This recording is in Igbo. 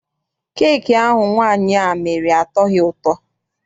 Keeki ahụ nwaanyị a mere atọghi ụtọ.